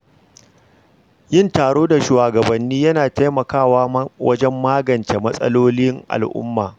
Yin taro da shugabanni yana taimakawa wajen magance matsalolin al’umma.